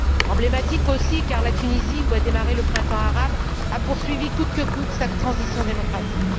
Emblématique aussi, car la Tunisie, où a démarré le printemps arabe, a poursuivi coûte que coûte sa transition démocratique.